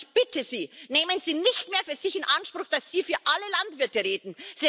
Aber ich bitte Sie Nehmen Sie nicht mehr für sich in Anspruch, dass Sie für alle Landwirte reden.